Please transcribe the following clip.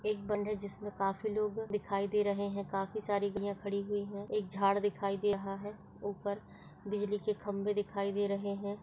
एक है जिसमे काफी लोग दिखाई दे रहे है काफी सारी गाड़ियां खड़ी हुई है एक झाड दिखाई दे रहा है ऊपर बिजली के खंभे दिखाई दे रहे है।